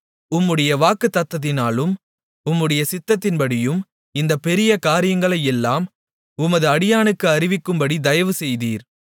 உம்முடைய வாக்குத்தத்தத்தினாலும் உம்முடைய சித்தத்தின்படியும் இந்தப் பெரிய காரியங்களையெல்லாம் உமது அடியானுக்கு அறிவிக்கும்படித் தயவு செய்தீர்